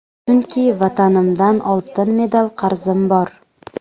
Chunki vatanimdan oltin medal qarzim bor.